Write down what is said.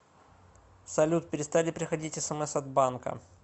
салют перестали приходить смс от банка